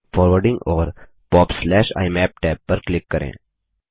forwarding और popइमाप tab पर क्लिक करें